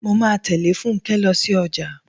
Mo máa tẹ̀lé Fúnkẹ́ lọ sí ọjà.